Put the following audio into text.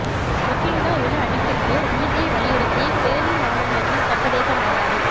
Rohingya இன அழிப்பிற்கு நீதியை வலியுறுத்தி பேர்லின் மாநகரத்தில் சர்வதேச மாநாடு